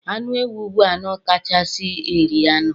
Anụ ewu bụ anụ kachasị eri anụ